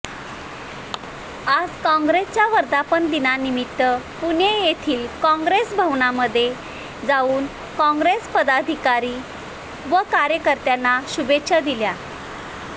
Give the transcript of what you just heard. आज काँग्रेसच्या वर्धापन दिनानिमित्त पुणे येथील काँग्रेस भवनामध्ये जाऊन काँग्रेस पदाधिकारी व कार्यकर्त्यांना शुभेच्छा दिल्या